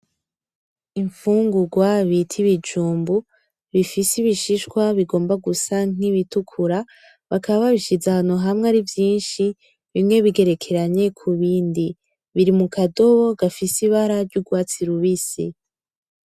Imfungurwa bita ibijumbu bifise ibishishwa bigomba gusa nk'ibitukura bakaba babishize ahantu hamwe ari vyishi bimwe bigerekeranye ku bindi biri mu kadobo gafise ibara ry'urwatsi rubisi.